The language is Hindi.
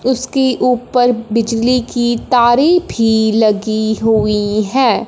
उसकी ऊपर बिजली की तारें भी लगी हुई है।